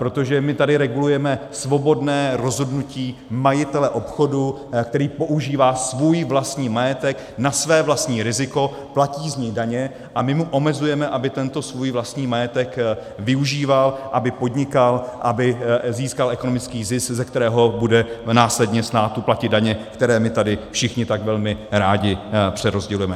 Protože my tady regulujeme svobodné rozhodnutí majitele obchodu, který používá svůj vlastní majetek na své vlastní riziko, platí z něj daně, a my mu omezujeme, aby tento svůj vlastní majetek využíval, aby podnikal, aby získal ekonomický zisk, ze kterého bude následně státu platit daně, které my tady všichni tak velmi rádi přerozdělujeme.